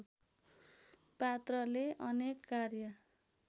पात्रले अनेक कार्य